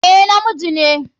A, na miji ne.